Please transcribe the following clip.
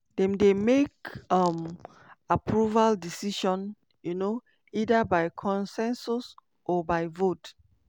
dem dey make um approval decision um either by consensus or by vote.